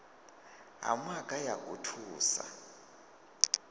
ha maga a u thusa